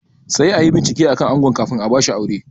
Sai anyi bincike akan ango kafin a bashi aure